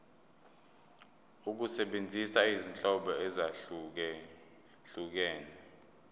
ukusebenzisa izinhlobo ezahlukehlukene